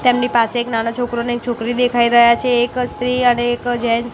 તેમની પાસે એક નાનો છોકરો અને એક છોકરી દેખાઈ રહ્યા છે એક સ્ત્રી અને એક જેન્ટ્સ .